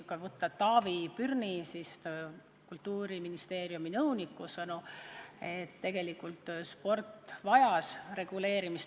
Taavi Pürni, Kultuuriministeeriumi nõuniku sõnul vajas sport tegelikult reguleerimist.